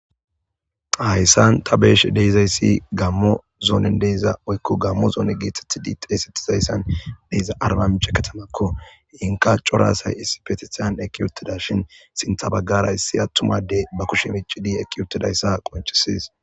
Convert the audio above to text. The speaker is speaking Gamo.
hayssan ta be'sh de'zayssi gammo zoonen deyza oykko gammo zoone gietethidi xeesettizayssan deyza arbamiche katamakko inka coraasay issi petisyan eki uttida shin sintha baggara issi attumadey ba kushe mici di ekki uttidayssa qoncisees